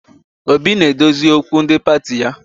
Obi na-edozi okwu ndi pati ya